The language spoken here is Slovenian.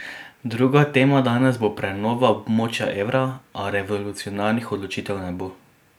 Druga tema danes bo prenova območja evra, a revolucionarnih odločitev ne bo.